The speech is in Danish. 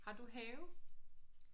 Har du have?